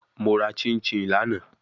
Mo ra chinchin lana